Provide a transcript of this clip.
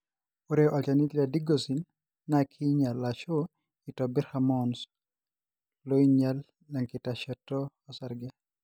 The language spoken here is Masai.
Ore olchani le Digoxin na kinyial ashu itobir hormones loinyial enkitasheto osarge.